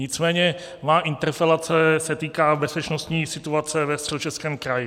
Nicméně má interpelace se týká bezpečnostní situace ve Středočeském kraji.